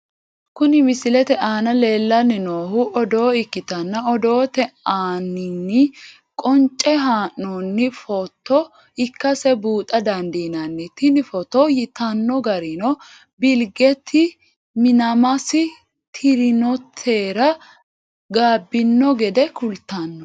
Kuni misilete aana lellanni noohu odoo ikkitanna, odoote aaninni qonce haa'noonni footo ikkase buuxa dandiinanni. tini footo yitanno garinni bilgeeti minaamasi tirinotera gaabbino gede kultanno.